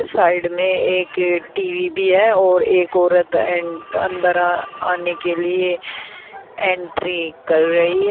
Side में एक TV भी है और एक औरत अंदर आने के लिए एंट्री कर रही है।